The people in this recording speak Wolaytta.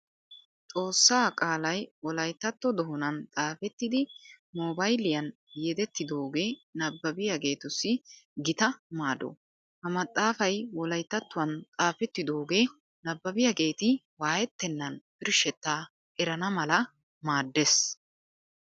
Xoossaa qaalay wolayttatto doonan xaafettidi moobayliyan yedettidoogee nabbabiyageetussi gita maado. Ha maxaafay wolayttattuwan xaafettidoogee nabbabiyageeti waayettennan birshshettaa erana mala maaddees.